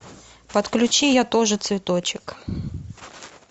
подключи я тоже цветочек